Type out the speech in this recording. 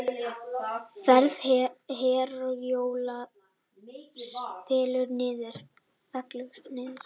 Ferð Herjólfs fellur niður